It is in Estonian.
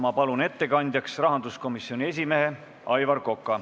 Ma palun ettekandjaks rahanduskomisjoni esimehe Aivar Koka.